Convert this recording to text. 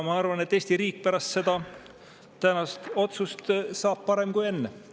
Ma arvan, et Eesti riik on pärast tänast otsust parem kui enne.